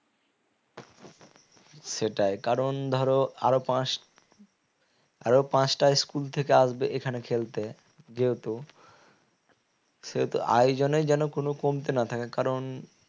সেটাই কারণ ধরো আরো পাঁচ আরো পাঁচটা school থেকে আসবে এখানে খেলতে যেহেতু সেহেতু আয়োজনে যেন কোন কমতি না থাকে কারণ